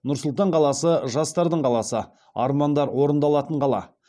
нұр сұлтан қаласы жастардың қаласы армандар орындалатын қала